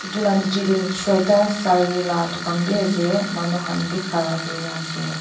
etu la nichey deh Shweayta Saree la duka bi asey manu khan bi khara kurina asey.